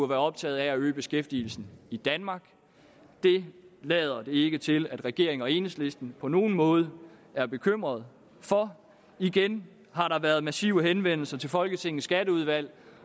være optaget af at øge beskæftigelsen i danmark det lader det ikke til at regeringen og enhedslisten på nogen måde er bekymret for igen har der været massive henvendelser til folketingets skatteudvalg